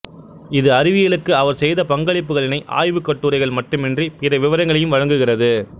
இது அறிவியலுக்கு அவர் செய்த பங்களிப்புகளினை ஆய்வுக் கட்டுரைகள் மட்டுமின்றி பிற விவரங்களையும் வழங்குகிறது